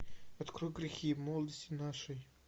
открой грехи молодости нашей